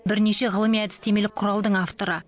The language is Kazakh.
бірнеше ғылыми әдістемелік құралдың авторы